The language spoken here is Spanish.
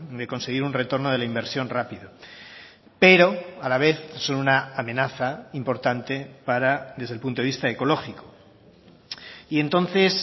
de conseguir un retorno de la inversión rápido pero a la vez son una amenaza importante para desde el punto de vista ecológico y entonces